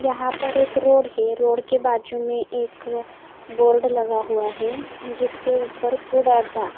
यहाँ पर एक रोड है रोड के बाजू में एक बोर्ड लगा हुआ है जिसके ऊपर फूड अड्डा--